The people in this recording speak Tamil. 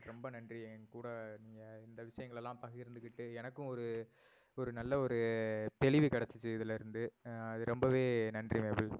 ரொம்ப நன்றி என் கூட நீங்க இந்த விஷயங்களெல்லாம் பகிர்ந்துகிட்டு எனக்கும் ஒரு ஒரு நல்ல ஒரு தெளிவு கிடைசுச்சு இதிலிருந்து அது ரொம்பவே நன்றி நேபில்